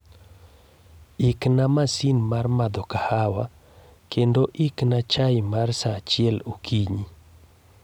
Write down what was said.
Ikna masin mar madho kahawa, kendo ikna chai mar saa achiel okinyi